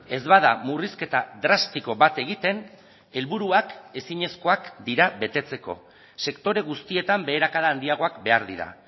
ez bada murrizketa drastiko bat egiten helburuak ezinezkoak dira betetzeko sektore guztietan beherakada handiagoak behar dira